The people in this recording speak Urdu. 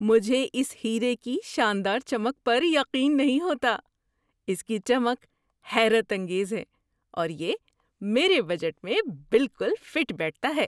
مجھے اس ہیرے کی شاندار چمک پر یقین نہیں ہوتا! اس کی چمک حیرت انگیز ہے، اور یہ میرے بجٹ میں بالکل فٹ بیٹھتا ہے۔